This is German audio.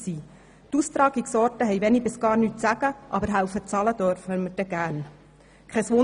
Die Austragungsorte haben wenig bis gar nichts zu sagen, aber beim Bezahlen dürfen wir gerne helfen.